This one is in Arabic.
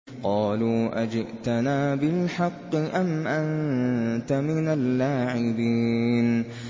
قَالُوا أَجِئْتَنَا بِالْحَقِّ أَمْ أَنتَ مِنَ اللَّاعِبِينَ